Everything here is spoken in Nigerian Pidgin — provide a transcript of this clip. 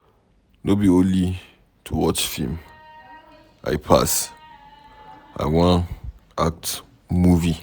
No be only to watch film I pass. I wan act movie